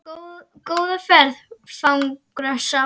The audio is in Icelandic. Góða ferð, fagra sál.